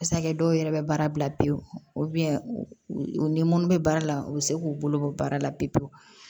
a kɛ dɔw yɛrɛ bɛ baara bila pewu u ni munnu bɛ baara la u bɛ se k'u bolo bɔ baara la pewu pewu